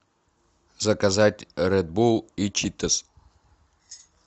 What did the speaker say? заказать ред булл и читос